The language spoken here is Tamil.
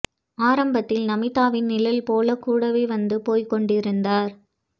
ஆரம்பத்தில் நமீதாவின் நிழல் போல கூடவே வந்து போய் கொண்டிருந்தார்